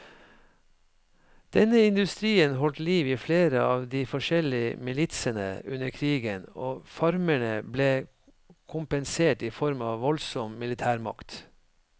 Denne industrien holdt liv i flere av de forskjellige militsene under krigen, og farmerne ble kompensert i form av voldsom militærmakt.